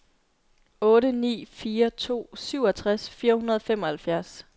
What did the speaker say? otte ni fire to syvogtres fire hundrede og femoghalvfjerds